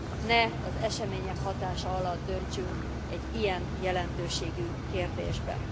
Ne az események hatása alatt döntsünk egy ilyen jelentőségű kérdésben.